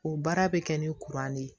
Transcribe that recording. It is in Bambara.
O baara bɛ kɛ ni de ye